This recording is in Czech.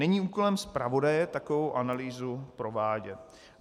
Není úkolem zpravodaje takovou analýzu provádět.